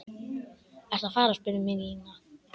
Ertu að fara? spurði Nína.